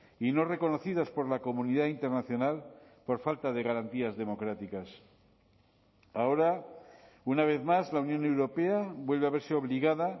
y no reconocidas por la comunidad internacional por falta de garantías democráticas ahora una vez más la unión europea vuelve a verse obligada